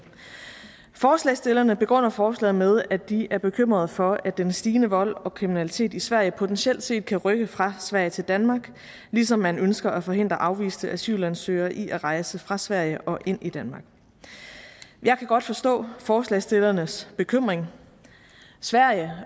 forslagsstillerne begrunder forslaget med at de er bekymrede for at den stigende vold og kriminalitet i sverige potentielt set kan rykke fra sverige til danmark ligesom man ønsker at forhindre afviste asylansøgere i at rejse fra sverige og ind i danmark jeg kan godt forstå forslagsstillernes bekymring sverige